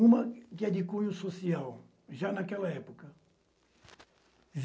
Uma que é de cunho social, já naquela época.